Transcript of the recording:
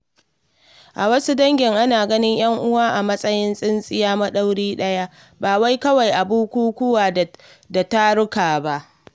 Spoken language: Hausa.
A wasu dangin, ana ganin ‘yan uwan a matsayin tsintsiya madaurinki daya, ba wai kawai a bukukuwa da taruka ba.